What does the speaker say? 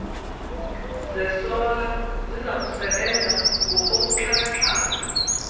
zesola zizakusebenza ngokobuxhakaxhaka